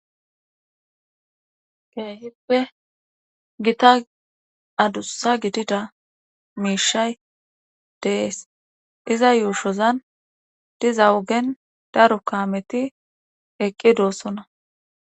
Keehippe gitta adussa gidida miishay de'ees. iza yuushozan diza ogen daro kaameti eqqidosona.